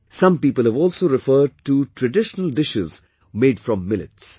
Some people have also referred to traditional dishes made from millets